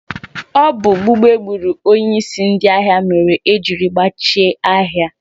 Ọ bụ gbugbu egburu onyeisi ndị ahịa mere ejiri gbachie ahịa.